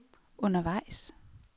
undervejs